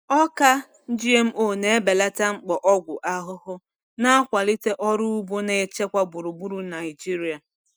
Ọka GMO na-ebelata mkpa ọgwụ ahụhụ, na-akwalite ọrụ ugbo na-echekwa gburugburu Naijiria.